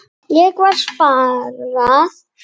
Ekkert var sparað.